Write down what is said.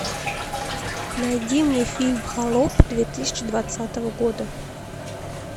найди мне фильм холоп две тысячи двадцатого года